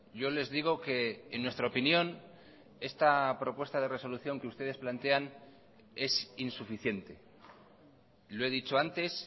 yo les digo que en nuestra opinión esta propuesta de resolución que ustedes plantean es insuficiente lo he dicho antes